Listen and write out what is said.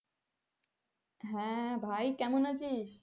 হ্যাঁ ভাই কেমন আছিস?